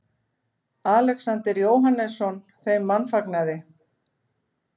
Alexander Jóhannesson þeim mannfagnaði.